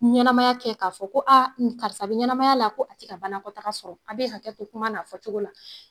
Ɲɛnamaya kɛ k'a fɔ ko karisa bɛ ɲɛnamaya la ko a tɛ ka banakɔtaga sɔrɔ, a bɛ hakɛ to kuma n'a fɔ cogo la.